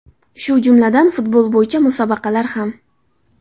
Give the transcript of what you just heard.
Shu jumladan, futbol bo‘yicha musobaqalar ham.